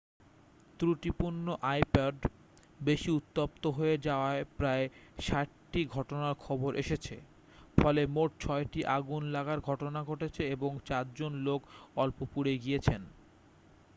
ত্রুটিপূর্ণ আইপড বেশি উত্তপ্ত হয়ে যাওয়ার প্রায় ৬০ টি ঘটনার খবর এসেছে ফলে মোট ছয়টি আগুন লাগার ঘটনা ঘটেছে এবং চারজন লোক অল্প পুড়ে গিয়েছেন।